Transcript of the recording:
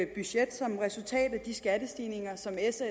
budget som et resultat af de skattestigninger som s og